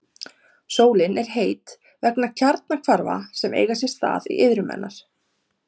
Sólin er heit vegna kjarnahvarfa sem eiga sér stað í iðrum hennar.